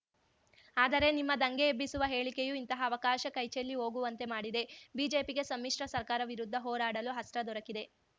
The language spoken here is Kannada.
ಆದರೆ ನಿಮ್ಮ ದಂಗೆಯೆಬ್ಬಿಸುವ ಹೇಳಿಕೆಯು ಇಂತಹ ಅವಕಾಶ ಕೈಚೆಲ್ಲಿ ಹೋಗುವಂತೆ ಮಾಡಿದೆ ಬಿಜೆಪಿಗೆ ಸಮ್ಮಿಶ್ರ ಸರ್ಕಾರ ವಿರುದ್ಧ ಹೋರಾಡಲು ಅಸ್ತ್ರ ದೊರಕಿದೆ